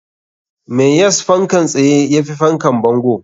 Me yas fankan tsaye yafi fankan bango?